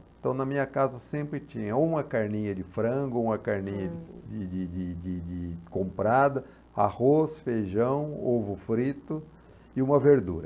Então, na minha casa sempre tinha uma carninha de frango, uma carninha de de de de de comprada, arroz, feijão, ovo frito e uma verdura.